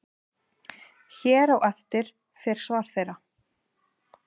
Hér á eftir fer svar þeirra.